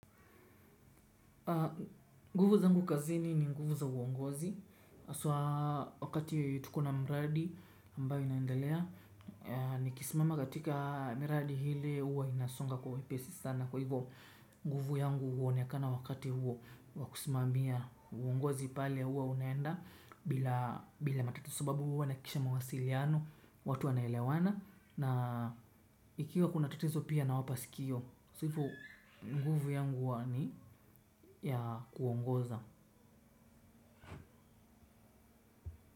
Nguvu zangu kazini ni nguvu za uongozi hasa wakati tuko na mradi ambayo inaendelea. Nikismama katika miradi hile uwa ninasonga kwa wepesi sana. Kwa hivyo nguvu yangu huonekana wakati huo wa kusimamia uongozi pale huwa unaenda bila bila matatiso sababu uwa naakisha mwasiliano. Watu anaelewana. Na ikiwa kunatatizo pia na wapasikio So vo guvu yangu wani ya kuongoza.